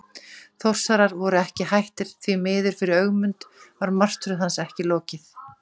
Þórsarar voru ekki hættir og því miður fyrir Ögmund var martröð hans ekki lokið.